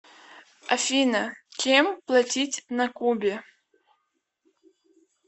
афина чем платить на кубе